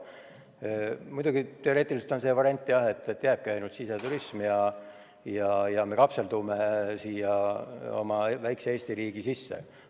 Muidugi, teoreetiliselt on võimalik ka variant, et jääbki ainult siseturism ja me kapseldume oma väikese Eesti riigi sisse.